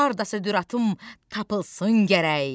Hardasa Düratım tapılsın gərək.